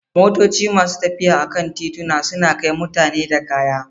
Motoci ne masu tafiya a kan tituna, suna kai mutane da kaya.